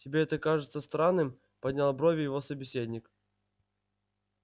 тебе это кажется странным поднял брови его собеседник